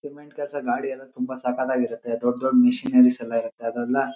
cement ಕೆಲಸ ಗಾಡಿ ಎಲ್ಲ ತುಂಬ ಸಕ್ಕತಾಗಿ ಇರುಥೆ ದೊಡ್ಡ್ ದೊಡ್ಡ್ ಮಶಿನರಿಸ್ ಎಲ್ಲ ಇರುತ್ತೆ ಅದೆಲ್ಲ --